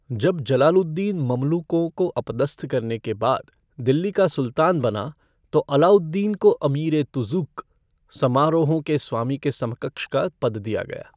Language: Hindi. जब जलालुद्दीन ममलूकों को अपदस्थ करने के बाद दिल्ली का सुल्तान बना, तो अलाउद्दीन को अमीर ए तुज़ूक, समारोहों के स्वामी के समकक्ष का पद दिया गया।